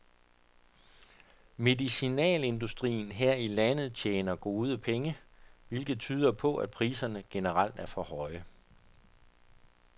Medicinalindustrien her i landet tjener gode penge, hvilket tyder på, at priserne generelt er for høje.